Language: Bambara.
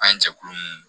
An ye jɛkulu nunnu